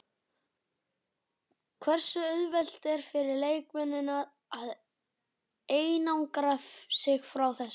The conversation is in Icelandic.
Hversu auðvelt er fyrir leikmennina að einangra sig frá þessu?